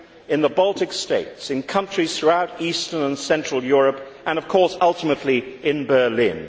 in the Baltic States, in countries throughout Eastern and Central Europe and, of course, ultimately in Berlin.